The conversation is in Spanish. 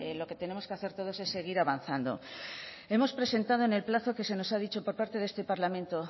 lo que tenemos que hacer todos es seguir avanzando hemos presentado en el plazo que se nos ha dicho por parte de este parlamento